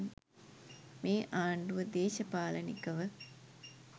මේ ආණ්ඩුව දේශපාලනිකව